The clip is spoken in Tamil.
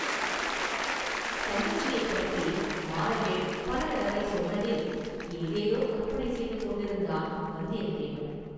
‘தங்கச்சி’யைப் பற்றி மாறவேள் பல தடவை சொன்னதில் ஏதேதோ கற்பனை செய்து கொண்டிருந்தான் வந்தியத்தேவன்.